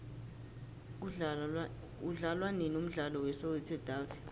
udlalwanini umdlalo we soweto davi